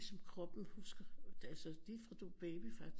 Som kroppen husker altså lige fra du er baby faktisk